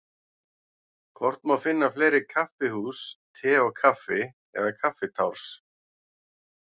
Hvort má finna fleiri kaffihús Te og Kaffi eða Kaffitárs?